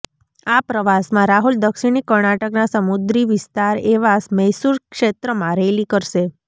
આ પ્રવાસમાં રાહુલ દક્ષિણી કર્ણાટકના સમુદ્રી વિસ્તાર એવા મૈસૂર ક્ષેત્રમાં રેલી કરશે